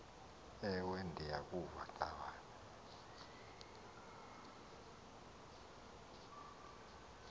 ewe ndiyakuva ngxabane